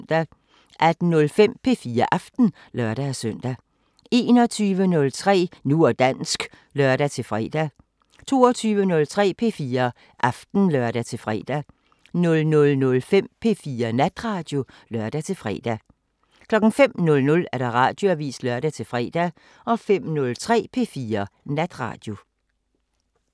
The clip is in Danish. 18:05: P4 Aften (lør-søn) 21:03: Nu og dansk (lør-fre) 22:03: P4 Aften (lør-fre) 00:05: P4 Natradio (lør-fre) 05:00: Radioavisen (lør-fre) 05:03: P4 Natradio